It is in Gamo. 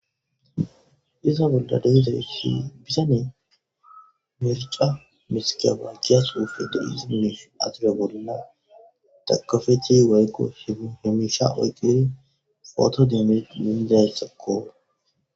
iza bolla dehizaysi bisanee mirca misika bankiya suufe do7i simmish asila bolina takafechi wayqo h hemisha oyqqiri pooto demed lindayetsakoora